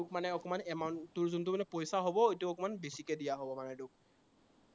তোক মানে অকমান amount তোৰ মানে যিটো পইচা হব, সেইটো অকনমান বেছিকে দিয়া হব তোক